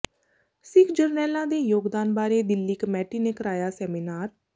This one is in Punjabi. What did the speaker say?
ਸਿੱਖ ਜਰਨੈਲਾਂ ਦੇ ਯੋਗਦਾਨ ਬਾਰੇ ਦਿੱਲੀ ਕਮੇਟੀ ਨੇ ਕਰਾਇਆ ਸੈਮੀਨਾਰ